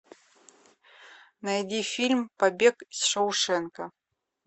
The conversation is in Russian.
найди фильм побег из шоушенка